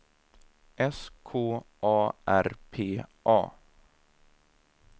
S K A R P A